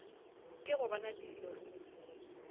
ke go bona dilo ruri